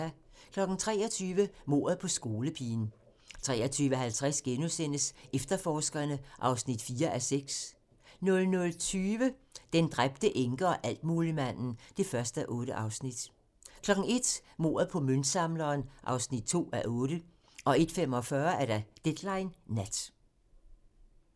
23:00: Mordet på skolepigen 23:50: Efterforskerne (4:6)* 00:20: Den dræbte enke og altmuligmanden (1:8) 01:00: Mordet på møntsamleren (2:8) 01:45: Deadline Nat